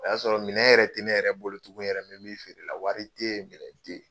O y'a sɔrɔ minɛn yɛrɛ ten ne yɛrɛ bolo tugun yɛrɛ, n bɛ mi feere la, wari te yen minɛn te yen